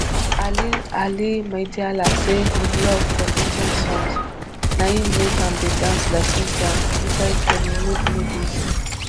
ali ali maidala say im love for india songs na im make am dey dance like indians inside kannywood movies